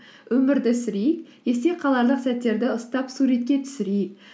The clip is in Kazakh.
өмірді сүрейік есте қаларлық сәттерді ұстап суретке түсірейік